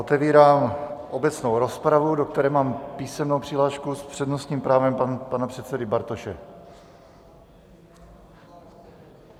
Otevírám obecnou rozpravu, do které mám písemnou přihlášku s přednostním právem pana předsedy Bartoše.